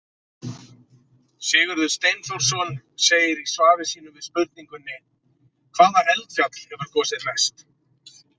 Sigurður Steinþórsson segir í svari sínu við spurningunni Hvaða eldfjall hefur gosið mest?